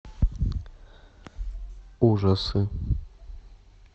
ужасы